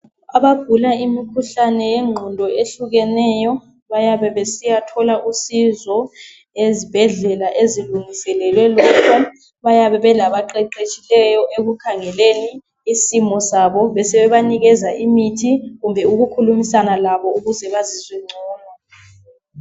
Abagula imikhuhlane yengqondo ehlukeneyo bayabe besiyathola usizo ezibhedlela ezilungiselwe labo. Bayabe belabaqeqetshiyo ekukhangeleni isimo sabo besebenanikeza